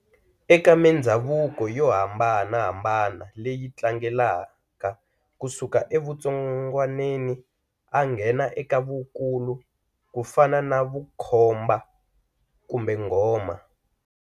Eka mindzhavuko yo hambanahambana leyi tlangelaka ku suka evutsongwaneni a nghena eka vukulu kufana na vukhomba kumbe nghoma.